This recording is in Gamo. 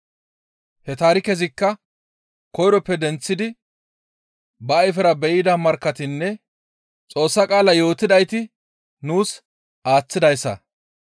He taarikezikka koyroppe denththidi ba ayfera be7ida markkatinne Xoossa qaala yootidayti nuus aaththidayssa.